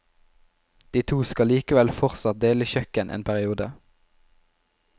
De to skal likevel fortsatt dele kjøkken en periode.